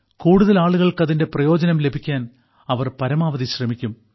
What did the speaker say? കൂടുതൽ ആളുകൾക്ക് അതിന്റെ പ്രയോജനം ലഭിക്കാൻ അവർ പരമാവധി ശ്രമിക്കും